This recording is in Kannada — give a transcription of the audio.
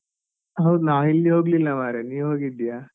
ಹೌದು ನಾನ್ ಎಲ್ಲಿಯೂ ಹೋಗ್ಲಿಲ್ಲ ಮಾರೆ, ನೀ ಹೋಗಿದ್ದೀಯಾ?